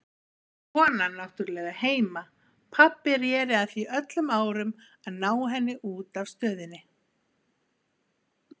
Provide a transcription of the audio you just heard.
Konan náttúrlega heima, pabbi reri að því öllum árum að ná henni út af Stöðinni.